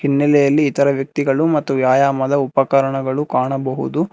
ಹಿನ್ನಲೆಯಲ್ಲಿ ಇತರೆ ವ್ಯಕ್ತಿಗಳು ಮತ್ತು ವ್ಯಾಯಾಮದ ಉಪಕಾರ್ಣಗಳು ಕಾಣಬಹುದು.